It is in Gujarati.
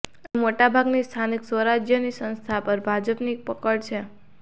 અહીં મોટાભાગની સ્થાનિક સ્વરાજ્યની સંસ્થાઓ પર ભાજપની પકડ છે